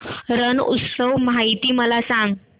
रण उत्सव माहिती मला सांग